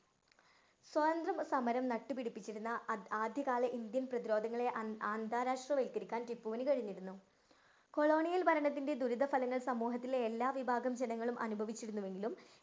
സ്വതന്ത്ര സമരം നട്ടുപിടിപ്പിച്ചിരുന്ന ആദ്യ ആദ്യകാല ഇന്ത്യൻ പ്രതിരോധങ്ങളെ അന്ത~ അന്താരാഷ്ടവല്‍ക്കരിക്കാന്‍ ടിപ്പുവിന് കഴിഞ്ഞിരുന്നു. കൊളോണിയല്‍ ഭരണത്തിന്‍റെ ദുരിതഫലങ്ങള്‍ സമൂഹത്തിലെ എല്ലാ വിഭാഗം ജനങ്ങളും അനുഭവിച്ചിരുന്നുവെങ്കിലും